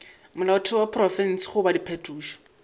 molaotheo wa profense goba diphetošo